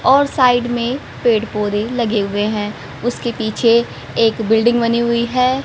और साइड में पेड़ पौधे लगे हुए हैं उसके पीछे एक बिल्डिंग बनी हुई है।